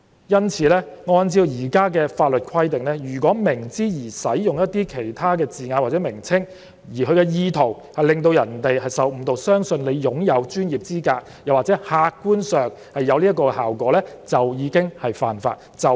因此，按照現行法例的規定，如果明知而使用一些字眼或名稱，而其意圖是致使其他人受誤導，相信他擁有專業資格或客觀上達致這個效果，即屬犯法。